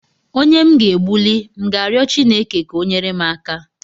Onye m ga egbuli, m ga-arịọ Chineke ka o nyere m aka?